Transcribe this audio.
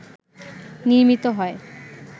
নির্মিত হয়